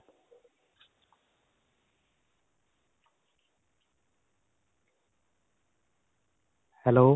hello.